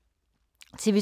TV 2